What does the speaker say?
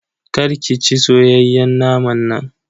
Kar ki ci soyayyen naman nan.